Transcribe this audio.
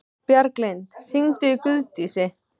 Bjarglind, hringdu í Guðdísi.